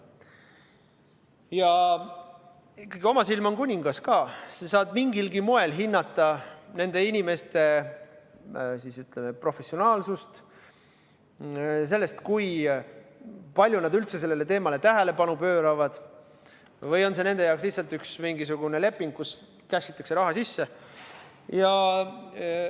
Ja ikkagi, oma silm on kuningas, sa saad mingilgi moel hinnata nende inimeste, ütleme, professionaalsust, seda, kui palju nad üldse sellele teemale tähelepanu pööravad või on see nende jaoks lihtsalt üks mingisugune leping, kus cash'itakse raha sisse.